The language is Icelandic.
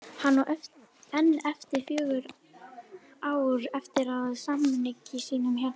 Hann á enn fjögur ár eftir af samningi sínum hérna